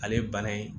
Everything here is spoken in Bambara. Ale ye bana ye